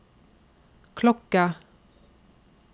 klokke